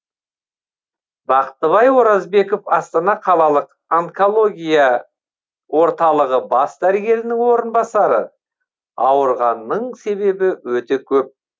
бақтыбай оразбеков астана қалалық онкология орталығы бас дәрігерінің орынбасары ауырғанның себебі өте көп